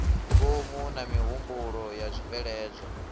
ngomu na mihumbulo zwa tshibveledzwa